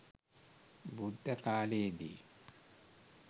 බුද්ධ කාලයේ දී